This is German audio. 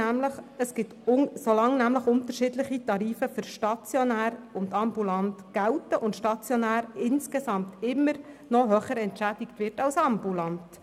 Weil für stationär und ambulant unterschiedliche Tarife gelten, und stationäre Leistungen insgesamt immer noch höher entschädigt werden als ambulante.